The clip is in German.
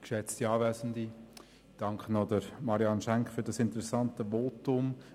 Ich danke Marianne Schenk für das interessante Votum.